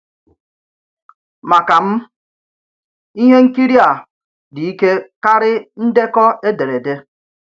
Màkà m, ìhè ǹkìrì à dị ìkè karị̀ ndekọ̀ èderede.